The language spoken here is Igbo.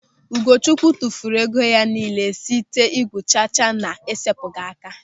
Ugochukwu tụfuru ego ya nille site igwu chacha na-esepụghị aka.